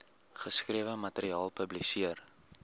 geskrewe materiaal publiseer